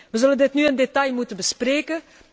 Wij zullen dit nu in detail moeten bespreken.